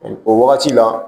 O wagati la